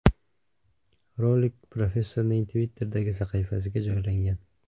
Rolik professorning Twitter’dagi sahifasiga joylangan .